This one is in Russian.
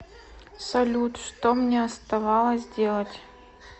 салют что мне оставалось делать